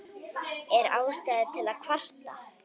Er ástæða til að kvarta?